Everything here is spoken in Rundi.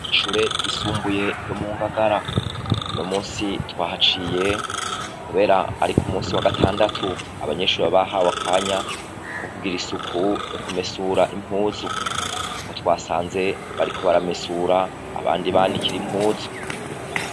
Ishure ryisumbuye yo mu Ngagara. Uno munsi twahaciye kubera ari k'umunsi wa gatandatu, abanyeshuri baba bahawe akanya ko kugira isuku yo kumesura impuzu, niko twasanze bariko baramesura abandi banikira impuzu.